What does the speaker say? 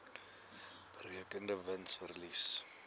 berekende wins verlies